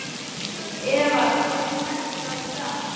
Eva, hvernig er dagskráin í dag?